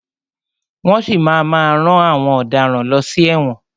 Wọ́n si máa má rán àwọn ọ̀daràn lọ sí ẹ̀wọ̀n.